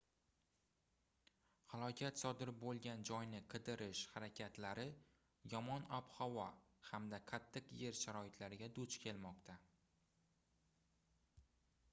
halokat sodir boʻlgan joyni qidirish harakatlari yomon ob-havo hamda qattiq yer sharoitlariga duch kelmoqda